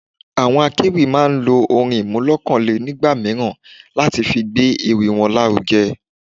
Àwọn akéwì máa ń lo orin iremolekun nígbà mìíràn láti fi gbé ewì wọn lárugẹ.